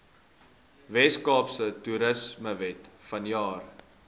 weskaapse toerismewet vanjaar